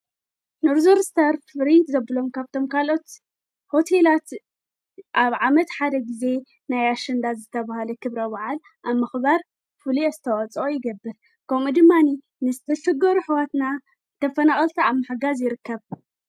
ንርዙርስተርፍ ሪት ዘብሎም ካብቶም ካልኦት ሆትላት ኣብ ዓመት ሓደ ጊዜ ናይ ኣሽንዳ ዘተብሃለ ኽብረዉዓል ኣብ ምኽባር ፍልየ ኣስተዋፅኦ ይገብር ከምኡእድማኒ ንስ ቢልፍጐሩ ኅዋትና ተፈነቐልቲ ኣብ ማሕጋዘይርከብ